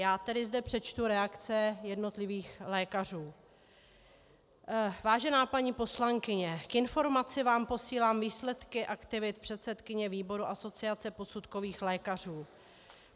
Já zde tedy přečtu reakce jednotlivých lékařů: "Vážená paní poslankyně, k informaci vám posílám výsledky aktivit předsedkyně výboru Asociace posudkových lékařů.